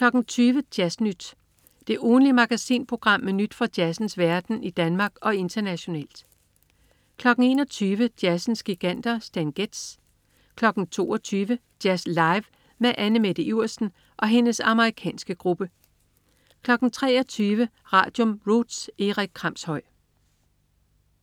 20.00 Jazz Nyt. Det ugentlige magasinprogram med nyt fra jazzens verden i Danmark og internationalt 21.00 Jazzens giganter. Stan Getz 22.00 Jazz live med Anne Mette Iversen og hendes amerikanske gruppe 23.00 Radium. Roots. Erik Kramshøj